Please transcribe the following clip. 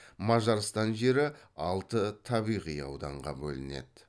мажарстан жері алты табиғи ауданға бөлінеді